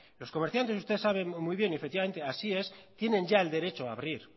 los comerciantes usted sabe muy bien y efectivamente así es tienen ya el derecho a abrir